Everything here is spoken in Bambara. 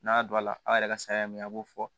N'a don a la a' yɛrɛ ka saya min a b'o fɔ